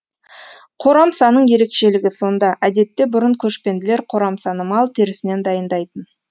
қорамсаның ерекшілігі сонда әдетте бұрын көшпенділер қорамсаны мал терісінен дайындайтын